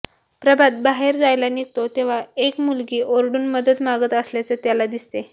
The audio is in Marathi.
प्रभात बाहेर जायला निघतो तेव्हा एक मुलगी ओरडून मदत मागत असल्याचं त्याला दिसतं